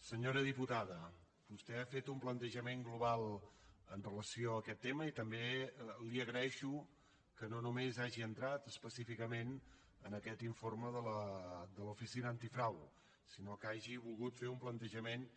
senyora diputada vostè ha fet un plantejament global amb relació a aquest tema i també li agraeixo que no només hagi entrat específicament en aquest informe de l’oficina antifrau sinó que hagi volgut fer un plantejament